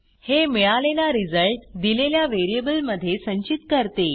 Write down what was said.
हे मिळालेला रिझल्ट दिलेल्या व्हेरिएबलमध्ये संचित करते